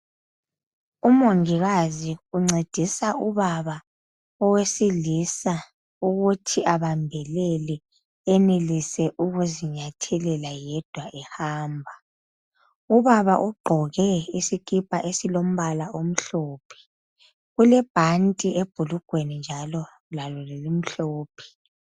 Umongikazi uncedisa ubaba owesilisa ukuthi abambelele enelise ukuzinyathelela yedwa ehamba ubaba ugqoke isikipa esilombala omhlophe ulebhanti ebhulugweni lalo limhlophe.